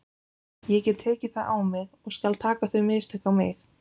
Ég get tekið það á mig og skal taka þau mistök á mig.